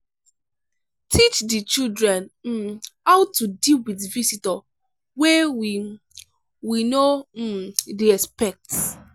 teach di children um how to deal with visitor wey we we no um dey expect